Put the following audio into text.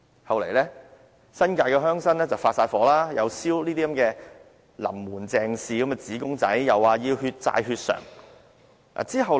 後來，惹來新界鄉紳大怒，又燒"林門鄭氏"的紙公仔，又說要"血債血償"。